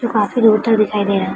जो काफी दूर तक दिखाई दे रहा है।